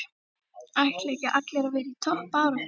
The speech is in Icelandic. Ætla ekki allir að vera í toppbaráttu?